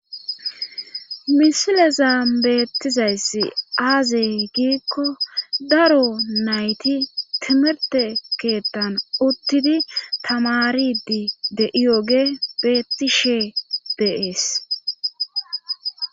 misileza beettizayss aazey giikko daro nayti timirte keettan uttidi tamaridi de iyoge beetti she beees